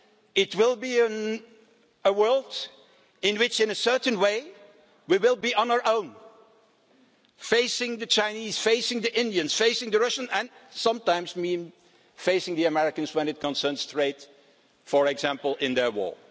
It will be a world in which, in a certain way, we will be on our own facing the Chinese, facing the Indians, facing the Russians and sometimes facing the Americans when it concerns trade, for example, in their